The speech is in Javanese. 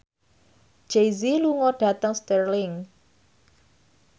Jay Z lunga dhateng Stirling